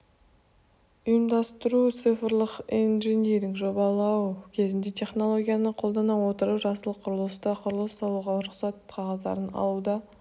ұйымдастыру цифрлық инжиниринг жобалау кезінде технологияны қолдана отырып жасыл құрылыста құрылыс салуға рұқсат қағаздарын алуда